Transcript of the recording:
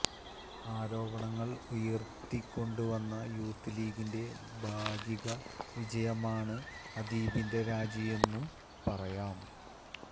ആരോപണം ഉയർത്തിക്കൊണ്ടുവന്ന യൂത്ത് ലീഗിന്റെ ഭാഗിക വിജയമാണ് അദീബിന്റെ രാജിയെന്നും പറയാം